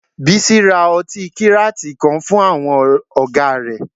Bísí ra ọtí kíràtì kan fún àwọn ọ̀gá rẹ̀